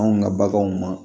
Anw ka baganw ma